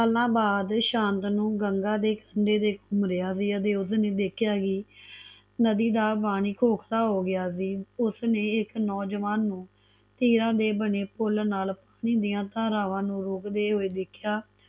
ਸਾਲਾਂ ਬਾਅਦ ਸ਼ਾਂਤਨੂੰ ਗੰਗਾ ਦੇ ਕੰਢੇ ਤੇ ਘੁੰਮ ਰਿਆ ਸੀ ਤੇ ਉਸਨੇ ਦੇਖਿਆ ਕਿ ਨਦੀ ਦਾ ਪਾਣੀ ਕੋਸਾ ਹੋਗਿਆ ਸੀ ਉਸਨੇ ਇਕ ਨੌਜਵਾਨੀ ਨੂੰ ਤੀਰਾ ਦੇ ਬਣੇ ਪੁੱਲ ਨਾਲ ਪਾਣੀ ਦਿਆ ਧਾਰਾਵਾਂ ਨੂੰ ਰੋਕਦੇ ਹੋਏ ਦੇਖਿਆ